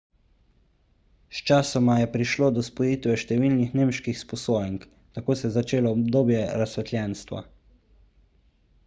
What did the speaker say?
sčasoma je prišlo do spojitve številnih nemških sposojenk tako se je začelo obdobje razsvetljenstva